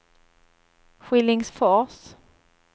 Skillingsfors